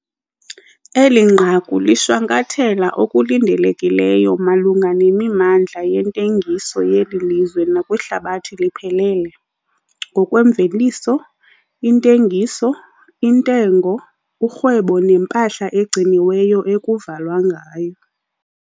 Eli nqaku lishwankathela okulindelekileyo malunga nemimandla yentengiso yeli lizwe nakwihlabathi liphelele, ngokwemveliso, intengiso, intengo, urhwebo nempahla egciniweyo ekuvalwa ngayo.